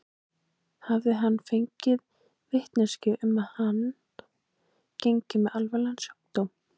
Hafði hann fengið vitneskju um að hann gengi með alvarlegan sjúkdóm?